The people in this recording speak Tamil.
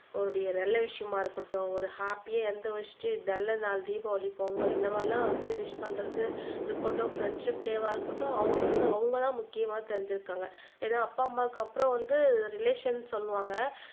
ஒரு நல்ல விஷயமா இருக்கட்டும் ஒரு ஹாப்பியா எந்த வச்சிட்டு நல்ல நாள் தீபாவளி பொங்கல் இந்தமாரி எல்லாம் வந்து விஷ் பண்றது இருக்கட்டும் ப்ரெண்ட்ஷிப் டேவா இருக்கட்டும் அவங்களுக்கு வந்து அவங்க தான் முக்கியமா தெரிஞ்சு இருக்காங்க ஏன்னா அப்பா அம்மாவுக்கு அப்புறம் வந்து ரிலேஷன் சொல்லுவாங்க